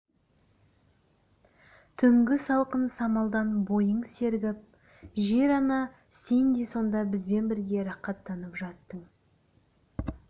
түнгі салқын самалдан бойың сергіп жер-ана сен де сонда бізбен бірге рақаттанып жаттың